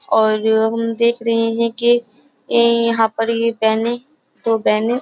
और हम देख रहे हैं कि यहाँ पर ये बहने दो बहने --